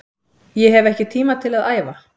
Ég hef ekki tíma til að æfa